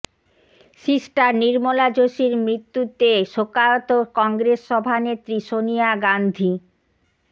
sister Nirmala যোশীর মৃতু্যতে শোকাহত কংগ্রেস সভানেত্রী সোনিয়া গান্ধী